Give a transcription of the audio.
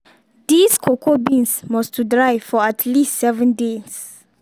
dis cocoa beans must to dry for at least seven days.